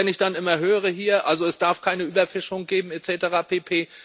Wenn ich dann immer höre Also, es darf keine Überfischung geben, et cetera pp.